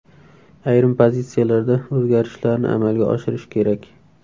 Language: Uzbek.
Ayrim pozitsiyalarda o‘zgarishlarni amalga oshirish kerak.